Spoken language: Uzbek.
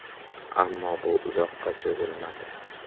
Ammo bu uzoqqa cho‘zilmadi.